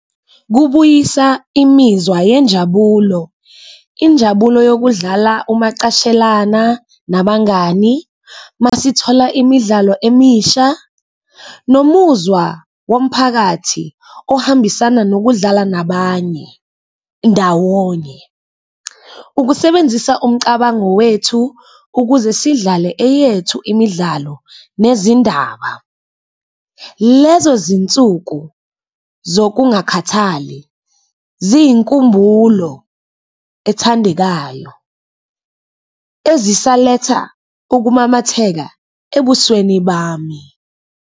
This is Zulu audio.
Kubuyisa imizwa yenjabulo, injabulo yokudlala umacashelana nabangani masithola imidlalo emisha, nomuzwa womphakathi ohambisana nokudlala nabanye ndawonye, ukusebenzisa umcabango wethu ukuze sidlale eyethu imidlalo nezindaba. Lezo zinsuku zokungakhathali ziyinkumbulo ethandekayo ezisaletha ukumamatheka ebusweni bami.